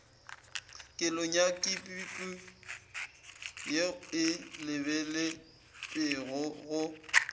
kelonyakipipo ye e lebeletpego go